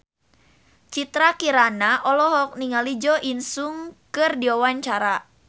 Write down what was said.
Citra Kirana olohok ningali Jo In Sung keur diwawancara